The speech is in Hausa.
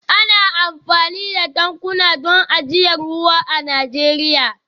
Ana amfani da tankuna don ajiyar ruwa a Najeriya